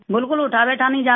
बिल्कुल उठाबैठा नहीं जाता